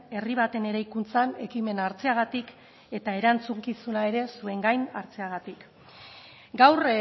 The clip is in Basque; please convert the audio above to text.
herri baten eraikuntzan ekimena hartzeagatik eta erantzukizuna ere zuen gain hartzeagatik gaur